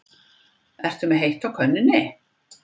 Ertu með heitt á könnunni?